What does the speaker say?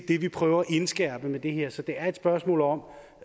det vi prøver at indskærpe med det her så det er et spørgsmål om